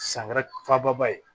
Sankɛrɛ faababa ye